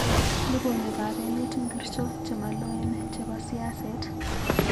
Logoywekab emet ngircho chemaloen chebo siaset